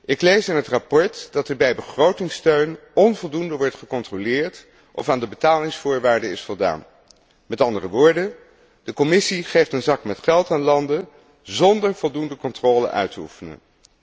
Ik lees in het verslag dat er bij begrotingssteun onvoldoende wordt gecontroleerd of aan de betalingsvoorwaarden is voldaan. Met andere woorden de Commissie geeft een zak met geld aan landen, zonder voldoende controle uit te oefenen.